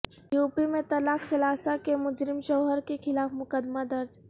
you P میں طلاق ثلاثہ کے مجرم شوہر کیخلاف مقدمہ درج